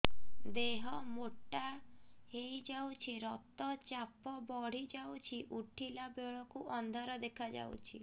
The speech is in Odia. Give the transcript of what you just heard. ଦେହ ମୋଟା ହେଇଯାଉଛି ରକ୍ତ ଚାପ ବଢ଼ି ଯାଉଛି ଉଠିଲା ବେଳକୁ ଅନ୍ଧାର ଦେଖା ଯାଉଛି